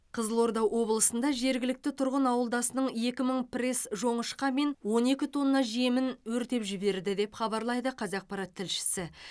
қызылорда облысында жергілікті тұрғын ауылдасының екі мың пресс жоңышқа мен он екі тонна жемін өртеп жіберді деп хабарлайды қазақпарат тілшісі